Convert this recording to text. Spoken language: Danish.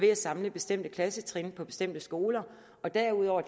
kan samle bestemte klassetrin på bestemte skoler derudover